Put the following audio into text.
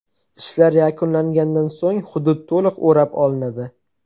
Ishlar yakunlangandan so‘ng hudud to‘liq o‘rab olinadi.